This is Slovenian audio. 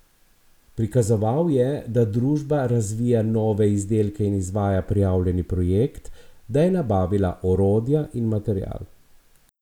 Prikazoval je, da družba razvija nove izdelke in izvaja prijavljeni projekt, da je nabavila orodja in material.